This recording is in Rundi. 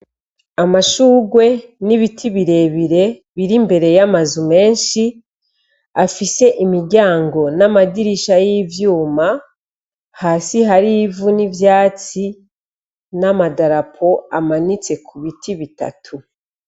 Amashugwe n'ibiti birebire biri imbere y'amazu menshi afise imiryango n'amadirisha y'ivyuma, hasi hari ivu n'ivyatsi n'amadarapo amanitse ku biti bitatu.